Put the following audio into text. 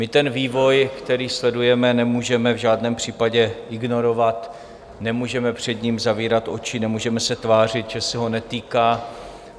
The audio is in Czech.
My ten vývoj, který sledujeme, nemůžeme v žádném případě ignorovat, nemůžeme před ním zavírat oči, nemůžeme se tvářit, že se nás netýká.